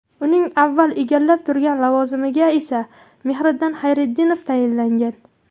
Uning avval egallab turgan lavozimiga esa Mehriddin Xayriddinov tayinlangan .